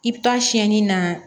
I bi taa siyɛnni na